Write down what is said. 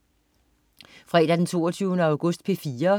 Fredag den 22. august - P4: